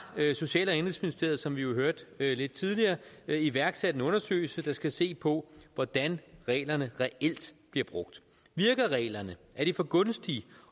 social og indenrigsministeriet som vi jo hørte lidt tidligere iværksat en undersøgelse der skal se på hvordan reglerne reelt bliver brugt virker reglerne er de for gunstige